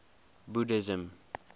buddhism